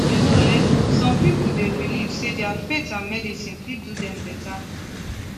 you know eh some people dey believe say their faith and medicine fit do dem better